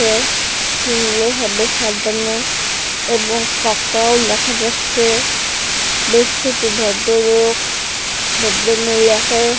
ভালভাবে সাজানএবং তাকেও দেখা যাচ্ছে বেশ কিছু ভদ্র্লোক ভদ্রমহিলাকে--